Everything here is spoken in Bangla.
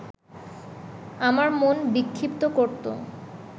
আমার মন বিক্ষিপ্ত করত